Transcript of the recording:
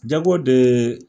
Jago de ye.